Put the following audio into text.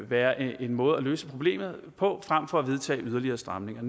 være en måde at løse problemet på frem for at vedtage yderligere stramninger